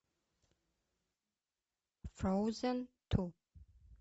фроузен ту